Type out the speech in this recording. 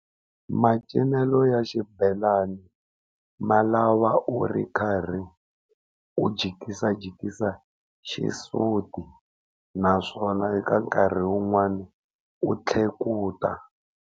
Macinelo ya xibelani ma lava u ri karhi u jikisa jikisa xisuti naswona eka nkarhi wun'wani u tlhekuta.